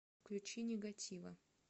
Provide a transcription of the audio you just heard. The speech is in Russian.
включи нигатива